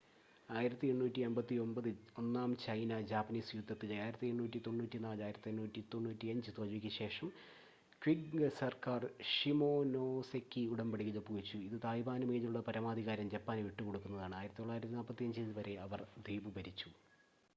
1895-ൽ ഒന്നാം ചൈന-ജാപ്പനീസ് യുദ്ധത്തിലെ 1894-1895 തോൽവിക്ക് ശേഷം ക്വിംഗ് സർക്കാർ ഷിമോനോസെകി ഉടമ്പടിയിൽ ഒപ്പുവെച്ചു. ഇത് തായ്‌വാനു മേലുള്ള പരമാധികാരം ജപ്പാന് വിട്ടുകൊടുക്കുന്നതാണ്. 1945 വരെ അവർ ദ്വീപ് ഭരിച്ചു